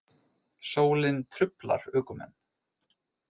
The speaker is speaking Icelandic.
Sólin truflar ökumenn